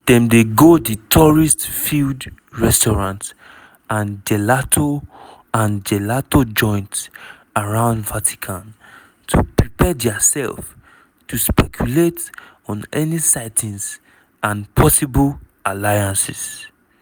dem dey go di tourist-filled restaurants and gelato and gelato joints around vatican to prepare diaself to speculate on any sightings and possible alliances.